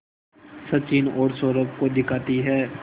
सचिन और सौरभ को दिखाती है